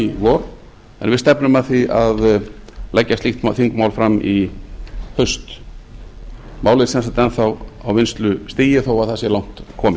í vor en við stefnum að því að leggja slíkt þingmál fram í haust málið er sem sagt enn þá á vinnslustigi þó að það sé langt komið